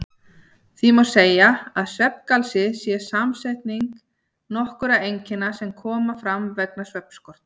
Því má segja að svefngalsi sé samsetning nokkurra einkenna sem koma fram vegna svefnskorts.